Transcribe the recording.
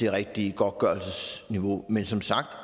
det rigtige godtgørelsesniveau men som sagt